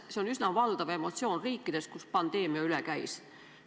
See on üsna valdav emotsioon riikides, kust pandeemia üle käis.